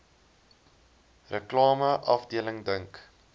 reklame afdeling dink